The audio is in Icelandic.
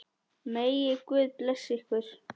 Megi Guð blessa ykkur.